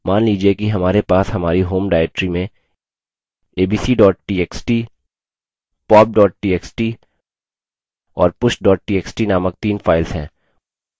मान लीजिए कि हमारे pop हमारी home directory में abc txt pop txt और push txt named तीन files हैं